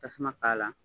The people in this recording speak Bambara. Tasuma k'a la